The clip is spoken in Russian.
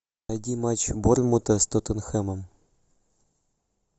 найди матч борнмута с тоттенхэмом